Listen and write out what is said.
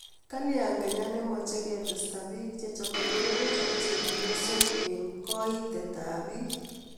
Kalya kenya nemache ketesta bik chechame murenik ak chebiosok eng keitiet ab bik